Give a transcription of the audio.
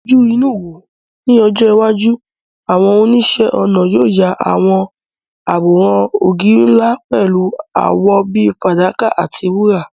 Fojú inú wò ó, ní ọjọ́ iwájú, àwọn oníṣẹ́-ọnà yóò ya àwòrán ògiri ńlá pẹ̀lú àwọ̀ bíi fàdákà àti wúrà.